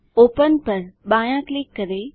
open पर बायाँ click करें